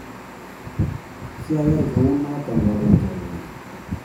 Siayay kunoto karon chorwenyu